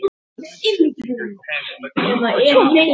Fer mína leið.